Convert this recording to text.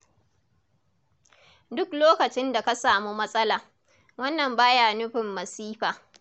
Duk lokacin da ka samu matsala, wannan ba ya nufin masifa.